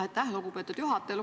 Aitäh, lugupeetud juhataja!